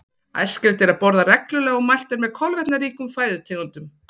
Æskilegt er að borða reglulega og mælt er með kolvetnaríkum fæðutegundum.